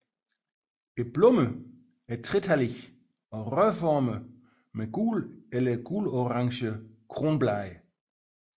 Blomsterne er tretallige og rørformede med gule eller gulorange kronblade